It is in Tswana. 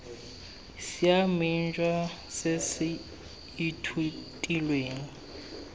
siameng jwa se se ithutilweng